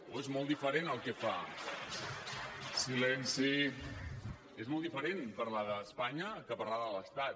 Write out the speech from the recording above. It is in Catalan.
o és molt diferent el que fa és molt diferent parlar d’espanya que parlar de l’estat